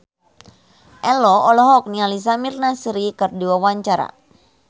Ello olohok ningali Samir Nasri keur diwawancara